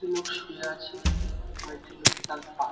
একটি লোক শুয়ে আছে কয়েকটি লোক তার পা--